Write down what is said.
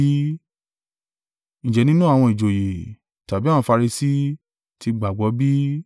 Ǹjẹ́ nínú àwọn ìjòyè, tàbí àwọn Farisi ti gbà á gbọ́ bí?